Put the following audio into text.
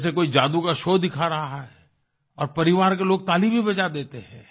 जैसे कोई जादू का शो दिखा रहा है और परिवार के लोग ताली भी बजा देते हैं